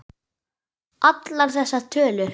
Allar þessar tölur.